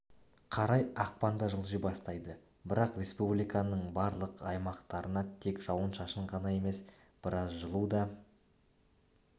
қарай ақпанда жылжи бастайды бірақ республиканың барлық аймақтарына тек жауын-шашын ғана емес біраз жылу да